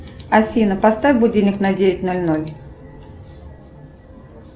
афина поставь будильник на девять ноль ноль